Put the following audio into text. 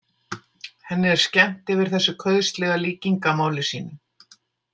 Henni er skemmt yfir þessu kauðslega líkingamáli sínu.